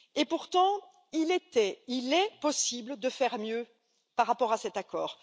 Pourtant il était, il est possible de faire mieux par rapport à cet accord.